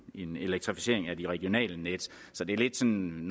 en elektrificering af de regionale net så det er lidt som